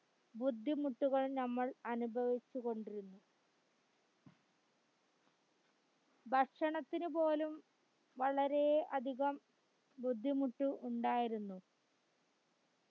ബുദ്ധിമുട്ടുകൾ നമ്മൾ അനുഭവിച്ചുകൊണ്ടിരുന്നു ഭക്ഷണത്തിന്ന് പോലും വളരെ അധികം ബുദ്ധിമുട്ട് ഉണ്ടായിരുന്നു